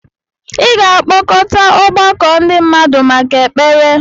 ị ga-akpọkọta ọgbakọ ndị mmadụ maka ekpere